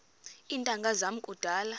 iintanga zam kudala